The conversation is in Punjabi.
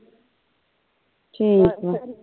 ਠੀਕ ਆ